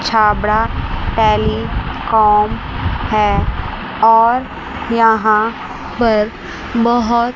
Chhabra telecom है और यहां पर बहोत--